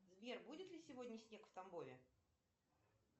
сбер будет ли сегодня снег в тамбове